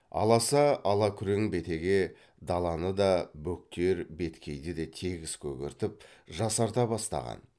аласа алакүрең бетеге даланы да бөктер беткейді де тегіс көгертіп жасарта бастаған